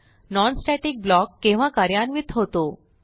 non static block केव्हा कार्यान्वित होतो